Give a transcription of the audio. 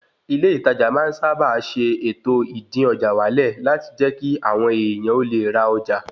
Ilé ìtajà máa ń sábà ṣe ètò, ìdín-ọjà-wálẹ̀ láti jẹ́ kí àwọn èèyàn ó le ra ọjà